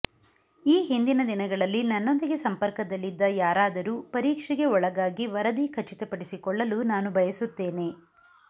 ಈ ಹಿಂದಿನ ದಿನಗಳಲ್ಲಿ ನನ್ನೊಂದಿಗೆ ಸಂಪರ್ಕದಲ್ಲಿದ್ದ ಯಾರಾದರೂ ಪರೀಕ್ಷೆಗೆ ಒಳಗಾಗಿ ವರದಿ ಖಚಿತಪಡಿಸಿಕೊಳ್ಳಲು ನಾನು ಬಯಸುತ್ತೇನೆ